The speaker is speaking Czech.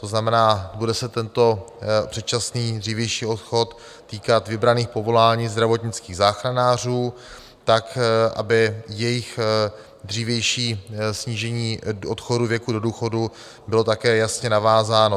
To znamená, bude se tento předčasný, dřívější odchod týkat vybraných povolání zdravotnických záchranářů tak, aby jejich dřívější snížení odchodu věku do důchodu bylo také jasně navázáno.